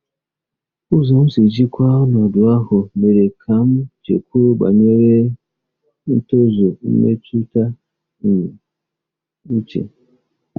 Ụzọ m si jikwaa ọnọdụ ahụ mere ka m chekwuo banyere ntozu mmetụta um uche.